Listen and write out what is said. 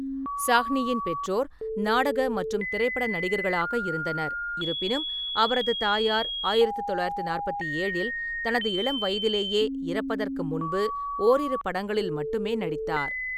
சாஹ்னியின் பெற்றோர் நாடக மற்றும் திரைப்பட நடிகர்களாக இருந்தனர், இருப்பினும் அவரது தாயார் ஆயிரத்து தொள்ளாயிரத்து நாற்பத்தி ஏழில் தனது இளம் வயதிலேயே இறப்பதற்கு முன்பு ஓரிரு படங்களில் மட்டுமே நடித்தார்.